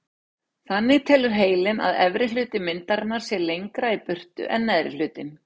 Þannig telur heilinn að efri hluti myndarinnar sé lengra í burtu en neðri hlutinn.